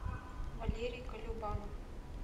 валерий колюбанов